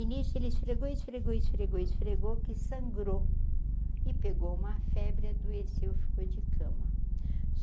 E nisso ele esfregou, esfregou, esfregou, esfregou, que sangrou e pegou uma febre adoeceu e ficou de cama.